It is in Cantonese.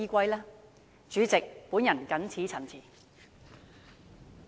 代理主席，我謹此陳辭。